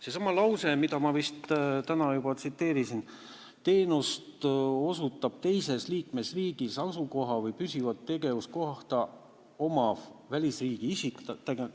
Seesama lause, mida ma vist täna juba tsiteerisin: "Teenust osutab teises liikmesriigis asukohta või püsivat tegevuskohta omav välisriigi isik ...